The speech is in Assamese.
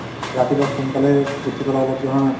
ৰাতিপুৱা সোনকালে উঠি পেলাই অলপ